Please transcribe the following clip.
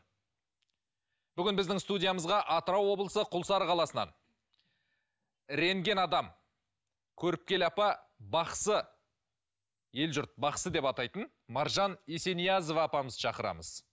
бүгін біздің студиямызға атырау облысы күлсары қаласынан рентген адам көріпкел апа бақсы ел жұрт бақсы деп атайтын маржан есениязова апамызды шақырамыз